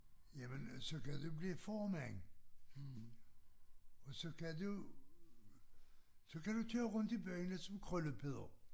Jamen så kan du blive formand og så kan du så kan du tage rundt i byerne som Krølle Peder